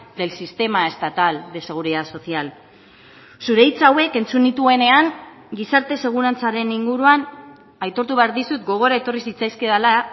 del sistema estatal de seguridad social zure hitz hauek entzun nituenean gizarte segurantzaren inguruan aitortu behar dizut gogora etorri zitzaizkidala